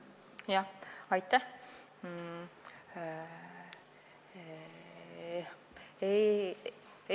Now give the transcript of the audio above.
Aitäh!